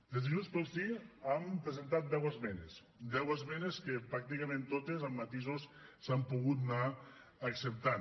des de junts pel sí hem presentat deu esmenes deu esmenes que pràcticament totes amb matisos s’han pogut anar acceptant